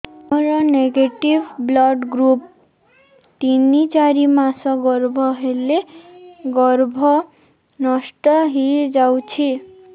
ମୋର negative blood group ତିନ ଚାରି ମାସ ଗର୍ଭ ହେଲେ ଗର୍ଭ ନଷ୍ଟ ହେଇଯାଉଛି